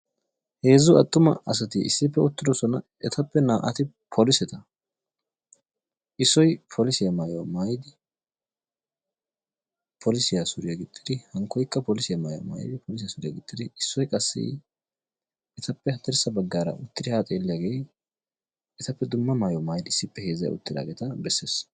Heezzu attuma asati issippe uttidoosona. Etappe naa"ati poliset, issoy polissiya maaytuwa maaytidi, polissiya suriyaa gixxidi hinkkoykka qassi polissiya maayuwa maayidi, polissiya suriya gixxidi, issoy qassi etappe haddirssa baggaara uttidi ha xeelliyaage etappe dumma maayyuwa maayyidi issippe heezzay uttidaageeta bessees.